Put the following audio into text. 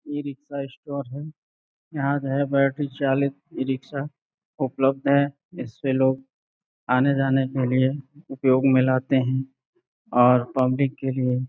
E rickshaw store है। यहां जो है बैटरी चालित ई-रिक्शा उपलब्ध है। इसपे लोग आने-जाने के लिए उपयोग में लाते हैं और पब्लिक के लिए --